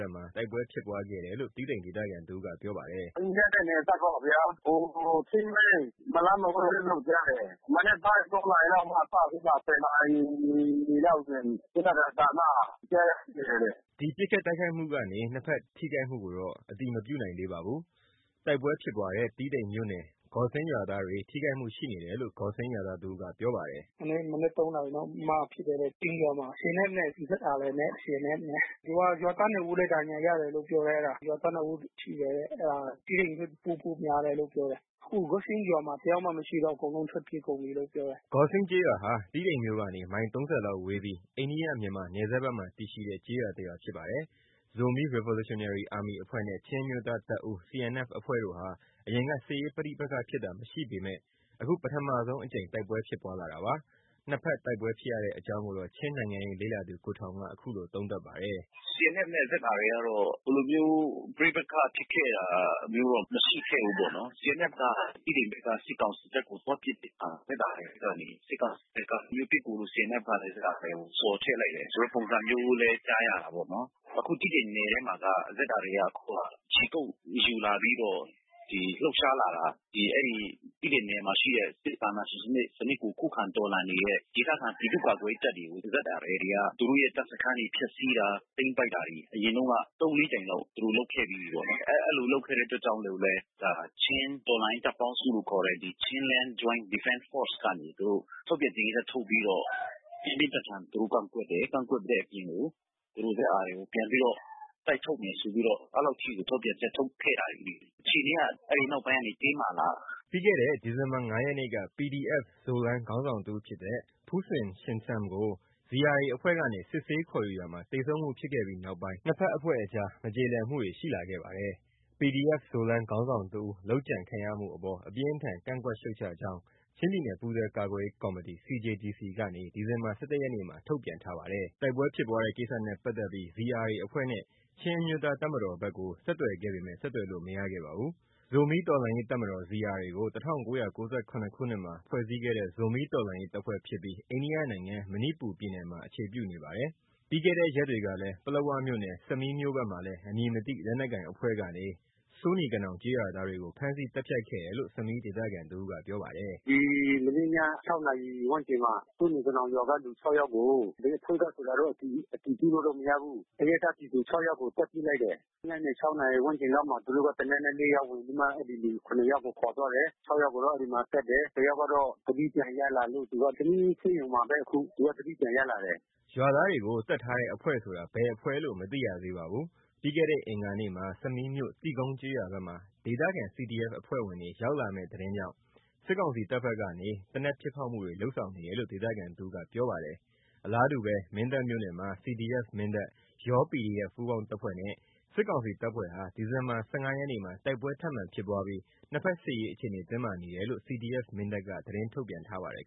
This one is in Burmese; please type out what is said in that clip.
ပ်မှာတိုက်ပွဲဖြစ်ပွါးခဲ့တယ်လို့ တီးတိန်ဒေသခံတဦး ကပြောပါတယ်။ “ အိန္ဒိယနယ်စပ်ပေါ့ဗျာ။ Gawsing ဂေါ်စင်းလေး။ မလှန်းမဝေးလို့ကြားတယ်။ မနက်ပိုင်း နာရီကစပြီး နာရီလောက်ကနေ ပစ်ခတ်သံကြားရတယ်တဲ့။’’ ဒီပစ်ခတ်တိုက်ခိုက်မှကနေ နှစ်ဖက်ထိခိုက်မှုကိုတော့ အတည်မပြုနိုင်သေးပါဘူး။ တိုက်ပွဲဖြစ်ပွါးတဲ့တီးတိန်မြို့နယ်ဂေါ်စင်း Gawsing ရွာသားတွေ ထိခိုက်မှုရှိနေတယ်လို့ ဂေါ်စင်းးရွာသားတဦးကပြောပါတယ်။ “ ဒီနေ့မနက် နာရီလောက်မှာဖြစ်တယ်တဲ့။ ဂေါ်စင်းရွာမှာ CNFနဲ့ ZRA။ ရွာသား ဦးလဲဒဏ်ရာရတယ်လို့ ပြောတယ်။ ရွာသား ဦးထိတယ်တဲ့။ အဲဒါ တီးတိန်မြို့ပို့မလားလို့ပြောတယ်။ အခုဂေါ်စင်းရွာမှာတယောက်မှမရှိတော့ဘူး။ အကုန်လုံးထွက်ပြေးကုန်ပြီလို့ပြောတယ်။ ’’ Gawsing ကျေးရွာဟာ တီးတိန်မြို့ကနေ မိုင် ၃၀ လောက်ဝေးပြီး အိန္ဒိယ - မြန်မာနယ်စပ်ဘက်မှာတည်ရှိတဲ့ကျေးရွာ ဖြစ်ပါတယ်။ Zomi Revolutionary Army အဖွဲ့နဲ့ ချင်းအမျိုးသားတပ်ဦးCNFအဖွဲ့ဟာ အရင်ကစစ်ရေးပဋိပက္ခဖြစ်တာမရှိပေမဲ့ အခုပထမဆုံးအကြိမ်တိုက်ပွဲဖြစ်ပွါးလာတာပါ။ နှစ်ဖက်တိုက်ပွဲဖြစ်ရတဲ့အကြောင်းကိုတော့ ချင်းနိုင်ငံရေးလေ့လာသူ ကိုထောင်က အခုလိုသုံးသပ်ပါတယ်။ “CNFနဲ့ZRAကတော့ ဒီလိုမျိုးပဋိပက္ခဖြစ်ခဲ့တာမရှိခဲ့ဘူးပေါ့နော်။ CNFက တီးတိန်ဘက်က စစ်ကောင်စီတပ်ကိုသွားပစ်တဲ့အခါ ZRAကနေ စစ်ကောင်စီဘက်က ဒီလိုမျိုးပစ်ကူ CNFလာတဲ့ ဘက်ကိုဆော်ထဲ့လိုက်တာ ဆိုတဲ့ပုံစံမျိုးလဲကြားရတာပေါ့နော်။ အခု တီးတိန် နယ်ထဲမှာက ZRAက အခုက ခြေကုတ်ယူလာပြီးတော့ လှုပ်ရှားလာတာ အဲဒီ တီးတိန်နယ်မှာရှိတဲ့ စစ်အာဏာရှင်စံနစ်ကို ခုခံတော်လှန်နေတဲ့ ဒေသခံပြည်သူ့ကာကွယ်ရေးတပ်တွေကို ZRAတွေက သူတို့တပ်စခန်းတွေကိုဖျက်စီးတာ သိမ်းပိုက်တာတွေ အရင်တုန်းက ကြိမ်လောက် သူတို့လုပ်ပြီးပြီပေါ့နော်။ အဲဒီလိုလုပ်ခဲ့တဲ့အတွက်ကြောင့်မို့လို့ဘဲ ချင်းတော်လှန်ရေးတပ်ပေါင်းစုလို့ခေါ်တဲ့ Chinland Joint Defense ကနေ ထုတ်ပြန် ကြေညာချက်ထုတ်ပြီးတော့ ပြင်းပြင်းထန်ထန်သူတို့ကန့်ကွက်တယ်။ သူတို့ZRAကိုပြန်ပြီးတော့ တိုက်ထုတ်မယ်ဆိုပြီးတော့ အဲဒီလောက်အထိ ထုတ်ပြန်ချက်တွေထုတ်ခဲ့တာတွေရှိတာပေါ့ နော်။ အခြေအနေတွေကအဲဒီနောက်ပိုင်းမှာတင်းမာလာတာ။’ ပြီးခဲ့တဲ့ဒီဇင်ဘာ ရက်နေ့က PDF-Zoland ခေါင်းဆောင်တစ်ဦးဖြစ်တဲ့ Pu Cin Sian Sum ကို ZRAအဖွဲ့ကနေ စစ်ဆေး ခေါ်ယူရာမှာ သေဆုံးမှုဖြစ်ခဲ့ပြီးနောက်ပိုင်း နှစ်ဖက်အဖွဲ့အကြားမကြေလည်မှုတွေရှိလာခဲ့ပါတယ်။ PDF-Zoland ခေါင်းဆောင်တစ်ဦး လုပ်ကြံခံရမှုအပေါ် အပြင်းအထန် ကန့်ကွက်ရှုတ်ချကြောင်း ချင်းပြည်နယ်ပူးတွဲ ကာကွယ်ရေး ကော်မီတီ CJDC ကနေ ဒီဇင်ဘာ ရက်နေ့မှာထုတ်ပြန်ထားပါတယ်။ တိုက်ပွဲဖြစ်ပွါးတဲ့ကိစ္စနဲ့ပတ်သက်ပြီး ZRA အဖွဲ့နဲ့ ချင်းအမျိုးသားတပ်မတော် CNF ဘက်ကို ဆက်သွယ်ခဲ့ပေမဲ့ဆက်သွယ်လို့ မရခဲ့ပါဘူး။ ဇိုမီးတော်လှန်ရေးတပ်မတော် ZRAကို ခုနှစ်မှာ ဖွဲ့စည်းခဲ့တဲ့ ဇိုမီးတော်လှန်ရေးတပ်ဖွဲ့ဖြစ်ပြီး အိန္ဒိယနိုင်ငံ၊ မဏိပူရ ပြည်နယ်မှာအခြေပြုနေပါတယ်။ အရင် တရက်ကလည်း ပလက်ဝမြို့နယ် ဆမီးမြို့ဘက်မှာလည်း အမည်မသိလက်နက်ကိုင်အဖွဲ့ကနေ စိုးနီကနောင်ကျေးရွာသားတွေကို ဖမ်းဆီးပြီးသတ်ဖြတ်ခဲ့တယ်လို့ ဆမီးဒေသခံတဦးကပြောပါတယ်။ “ မနေ့ည နာရီဝန်းကျင်မှာ စိုးနီကနောင်ကလူ ယောက်ကို ဘယ်အဖွဲ့ကဆိုတောတော့အတည်ပြုလို့မရဘူး။ အရပ်သား ပြည်သူ ယောက်ကိုသတ်ပစ်ခဲ့တယ်။ ညနေ နာရီဝန်းကျင်လောက်မှာ သူတို့က သေနတ်နဲ့ဝင်ပြီးမှ အဲဒီလူ ယောက်ကို ခေါ်သွားတယ်။ ယောက်ကိုတော့အဲဒီမှာသတ်တယ်။ တယောက်ကတော့သတိပြန်ရလာလို့ သူကဆမီးဆေးရုံမှာဘဲ အခု သူကသတိပြန်ရလာတယ်။ ’’ ရွာသားတွေကိုသတ်ထားတဲ့အဖွဲ့ဆိုတာ ဘယ်အဖွဲ့လို့မသိရသေးပါဘူး။ ပြီးခဲ့တဲ့အင်္ဂါနေ့မှာ ဆမီးမြို့ တိကုန်းကျေးရွာ ဘက်မှာ ဒေသခံCDFအဖွဲ့ဝင်တွေ ရောက်လာမဲ့သတင်းကြောင့်စစ်ကောင်စီတပ်ဘက်ကနေ သေနတ်ပစ်ဖောက်မှု တွေ လုပ်ဆောင်နေတယ်လို့ ဒေသခံတဦးကပြောပါတယ်။ အလားတူ မင်းတပ်မြို့နယ်မှာ CDF-Mindat ၊ ယော PDF ပူးပေါင်းတပ်ဖွဲ့နဲ့ စစ်ကောင်စီတပ်ဖွဲ့ဟာ ဒီဇင်ဘာလ ၁၅ ရက်နေ့မှာ တိုက်ပွဲထပ်မံဖြစ်ပွားပြီး နှစ်ဖက်စစ်ရေးအခြေအနေတင်းမာနေတယ်လို့ CDF-Mindat က သတင်းထုတ်ပြန်ပါတယ်